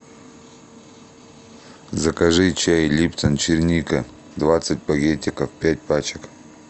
закажи чай липтон черника двадцать пакетиков пять пачек